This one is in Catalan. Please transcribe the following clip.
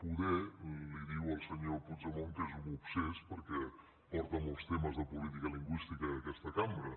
potser li diu al senyor puigdemont que és un obsés perquè porta molts temes de política lingüística a aquesta cambra